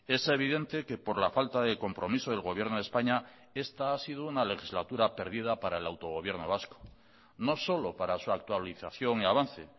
es evidente que por la falta de compromiso del gobierno de españa esta ha sido una legislatura perdida para el autogobierno vasco no solo para su actualización y avance